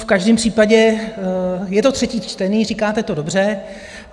V každém případě je to třetí čtení, říkáte to dobře.